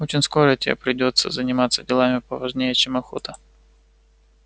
очень скоро тебе придётся заниматься делами поважнее чем охота